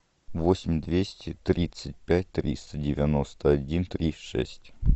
восемь двести тридцать пять триста девяносто один три шесть